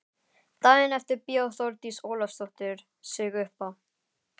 Daginn eftir bjó Þórdís Ólafsdóttir sig uppá.